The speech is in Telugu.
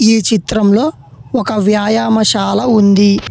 ఈ చిత్రంలో ఒక వ్యాయామశాల ఉంది.